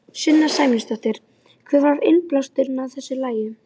Sunna Sæmundsdóttir: Hver var innblásturinn að þessu lagi?